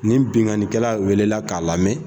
Ni binnkannikɛla welela k'a lamɛn